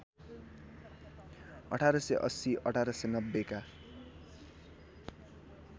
१८८० १८९० का